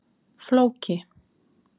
Flóki